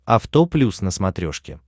авто плюс на смотрешке